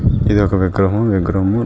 ఇది ఒక విగ్రహము విగ్రహం --